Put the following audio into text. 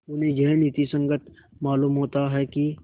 उन्हें यह नीति संगत मालूम होता है कि